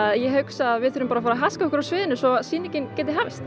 ég hugsa að við þurfum að fara af sviðinu